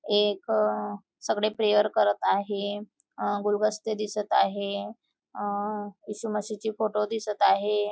एक अ सगळे प्रेयर करत आहे. अ गुलबस्ते दिसत आहे अ इशू मशीचे फोटो दिसत आहे.